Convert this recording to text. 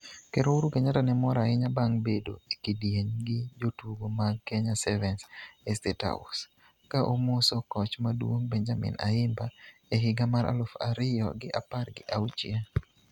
Ker Uhuru Kenyatta ne mor ahinya bang' bedo e kidieny gi jotugo mag Kenya 7s e State House, ka omoso koch maduong' Benjamin Ayimba e higa mar aluf ariyo gi apar gi auchiel.